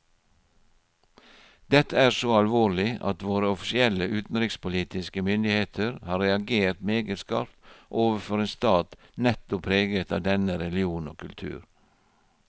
Dette er så alvorlig at våre offisielle utenrikspolitiske myndigheter har reagert meget skarpt overfor en stat nettopp preget av denne religion og kultur.